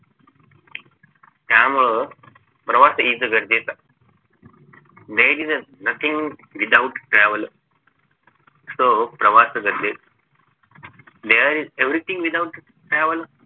त्यामुळं प्रवास is गरजेचा there is nothing without travel so प्रवास गरजेचा there is everything without travel